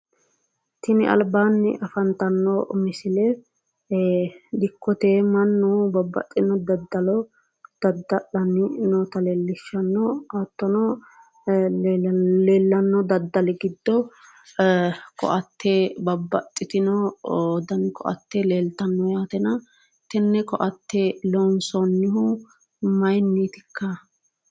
Tini albaanni afantanno misile dikkote mannu babbaxxino daddalo dadda'lannohu noota leellishshanno. Hattono leellanno daddali giddo koatte babbaxxitino koatte leeltannona, tenne koatte loonsoonnihu mayinniiti ikka?